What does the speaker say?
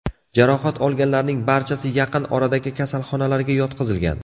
Jarohat olganlarning barchasi yaqin oradagi kasalxonalarga yotqizilgan.